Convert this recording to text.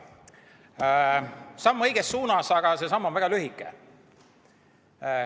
See on samm õiges suunas, aga see samm on väga lühike.